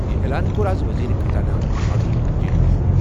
یہِ اعلان کوٚر اَز وزیر خزانہ ارون جیٹلیَن ۔